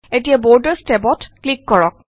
এতিয়া বৰ্ডাৰচ টেবত ক্লিক কৰক